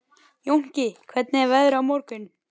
Jónki, hvernig er veðrið á morgun?